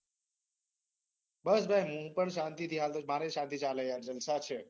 બસ ભાઈ, હું પણ શાંતી થી હાલુ. મારે પણ શાંતી ચાલે છે યાર. જલસા છે.